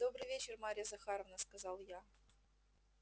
добрый вечер марья захаровна сказал я